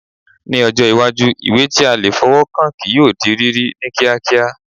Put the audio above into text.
Ní ọjọ́ iwájú, ìwé tí a lè fọwọ́ kàn kí yóò di rírí ní kíákíá